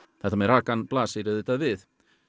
þetta með rakann blasir auðvitað við